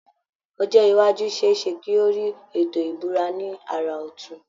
Ọjọ́ iwájú ṣe é ṣe kí ó rí Ètò ìbúra ní àrà ọtun